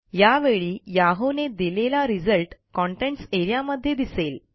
यावेळी Yahooने दिलेला रिझल्ट कंटेंट्स एआरईए मध्ये दिसेल